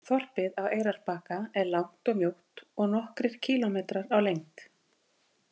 Þorpið á Eyrarbakka er langt og mjótt og nokkrir kílómetrar á lengd.